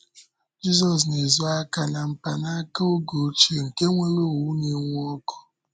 Jízọs na-ezo aka na mpanaka oge ochie nke nwere òwù na-enwu ọ̀kụ.